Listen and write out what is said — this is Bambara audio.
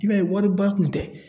I b'a ye wari ba kun tɛ.